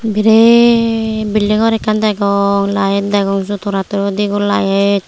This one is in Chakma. biret building gor ekkan degong light degong light.